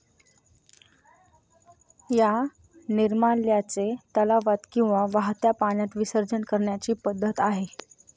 या निर्माल्याचे तलावात किंवा वाहत्या पाण्यात विसर्जन करण्याची पद्धत आहे.